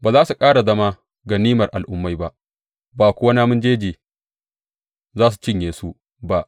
Ba za su ƙara zama ganimar al’ummai ba, ba kuwa namun jeji za su cinye su ba.